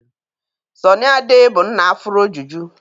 Sọnị Ade bụ nna afuro juju.